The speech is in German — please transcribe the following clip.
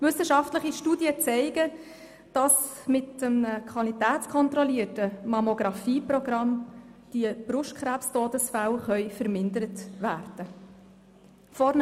Wissenschaftliche Studien zeigen, dass mit einem qualitätskontrollierten MammographieProgramm die Brustkrebs-Todesfälle vermindert werden können.